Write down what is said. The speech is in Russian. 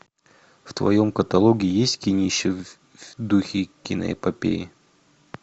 в твоем каталоге есть кинище в духе киноэпопеи